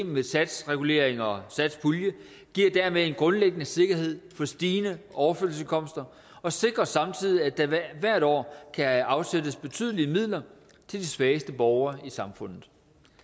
med satsreguleringer og satspulje giver dermed en grundlæggende sikkerhed for stigende overførselsindkomster og sikrer samtidig at der hvert år kan afsættes betydelige midler til de svageste borgere i samfundet